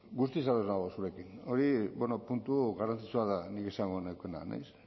guztiz ados nago zurekin hori puntu garrantzitsua da nik esango nukeena ez